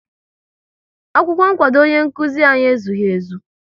Akwụkwọ nkwado ọnye nkụzi anyị ezughị ezu